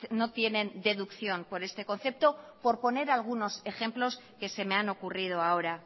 no tienen deducción por este concepto por poner algunos ejemplos que se me han ocurrido ahora